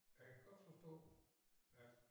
Og jeg kan godt forstå at